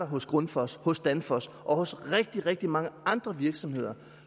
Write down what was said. hos grundfos hos danfoss og hos rigtig rigtig mange andre virksomheder